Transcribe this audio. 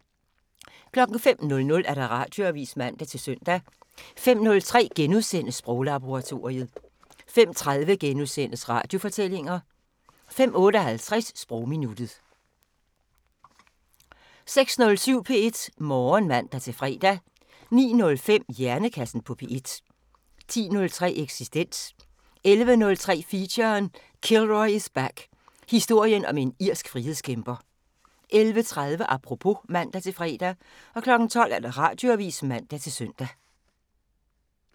05:00: Radioavisen (man-søn) 05:03: Sproglaboratoriet * 05:30: Radiofortællinger * 05:58: Sprogminuttet 06:07: P1 Morgen (man-fre) 09:05: Hjernekassen på P1 10:03: Eksistens 11:03: Feature: Kilroy is back – Historien om en irsk frihedskæmper 11:30: Apropos (man-fre) 12:00: Radioavisen (man-søn)